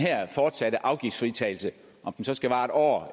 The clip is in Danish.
fortsatte afgiftsfritagelse om den så skal vare en år